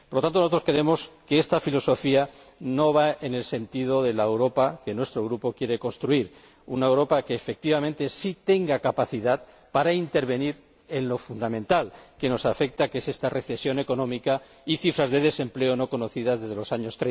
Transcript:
Por lo tanto, nosotros creemos que esta filosofía no va en el sentido de la Europa que nuestro Grupo quiere construir una Europa que, efectivamente, sí tenga capacidad para intervenir en lo que fundamentalmente nos afecta, que es esta recesión económica y unas cifras de desempleo no conocidas desde los años